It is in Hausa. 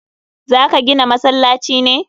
Za ka gina masallaci ne?